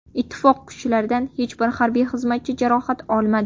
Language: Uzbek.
Ittifoq kuchlaridan hech bir harbiy xizmatchi jarohat olmadi.